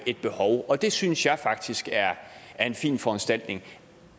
et behov og det synes jeg faktisk er en fin foranstaltning